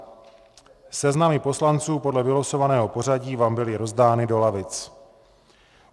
Seznamy poslanců podle vylosovaného pořadí vám byly rozdány do lavic.